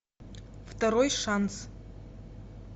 второй шанс